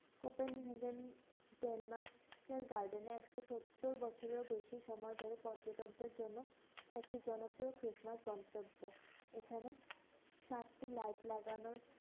Kotan regen Denmark এর garden এ একশ সত্তুর বছরেরও বেশি সময় ধরে পর্যটকদের জন্য একটি জনপ্রিয় Christmas গন্তব্য, এখানে সাতটি light লাগানো।